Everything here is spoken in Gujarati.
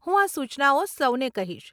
હું આ સૂચનાઓ સૌને કહીશ.